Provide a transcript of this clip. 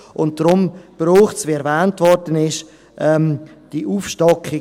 Deshalb braucht es, wie erwähnt wurde, diese Aufstockung.